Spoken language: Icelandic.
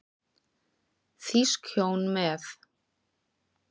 Þýsk hjón með